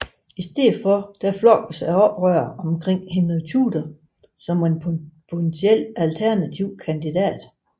I stedet flokkedes oprørerne omkring Henrik Tudor som en potentiel alternativ kandidat